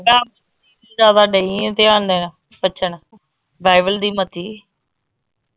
ਡਈ ਆ ਧਿਆਨ ਦੇਣ ਬਚਣ ਬਾਈਬਲ ਦੀ ਮਤੀ।